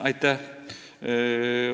Aitäh!